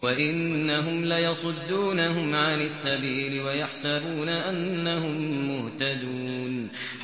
وَإِنَّهُمْ لَيَصُدُّونَهُمْ عَنِ السَّبِيلِ وَيَحْسَبُونَ أَنَّهُم مُّهْتَدُونَ